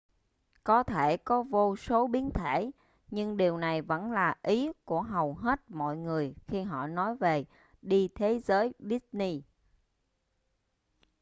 có thể có vô số biến thể nhưng điều này vẫn là ý của hầu hết mọi người khi họ nói về đi thế giới disney